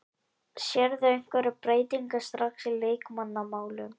Sérðu einhverjar breytingar strax í leikmannamálum?